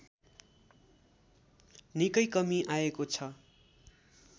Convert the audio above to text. निकै कमी आएको छ